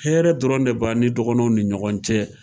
Hɛrɛ dɔrɔn de b'an ni dɔgɔnɔw ni ɲɔgɔn cɛ.